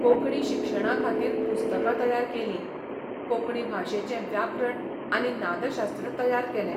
कोंकणी शिक्षणा खातीर पुस्तकां तयार केलीं, कोंकणी भाशेचें व्याकरण आनी नादशास्त्र तयार केलें.